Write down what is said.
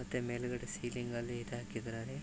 ಮತ್ತೆ ಮೇಲಗಡೆ ಸಿಲಿಂಗ ಅಲ್ಲಿ ಇದು ಹಾಕಿದರೆ.